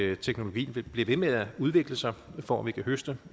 at teknologien bliver ved med at udvikle sig for at vi kan høste